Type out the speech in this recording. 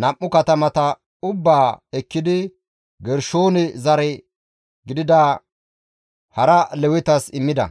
nam7u katamata ubbaa ekkidi, Gershoone zare gidida hara Lewetas immida.